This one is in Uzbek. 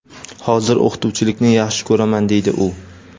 hozir o‘qituvchilikni yaxshi ko‘raman deydi u.